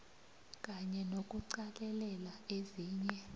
kanye nokuqalelela ezinye